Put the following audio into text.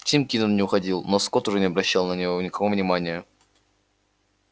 тим кинен не уходил но скотт уже не обращал на него никакого внимания